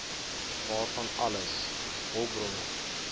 waarvan alles hulpbronne